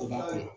O ma ɲi